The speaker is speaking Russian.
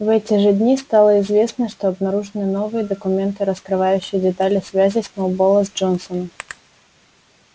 в эти же дни стало известно что обнаружены новые документы раскрывающие детали связей сноуболла с джонсом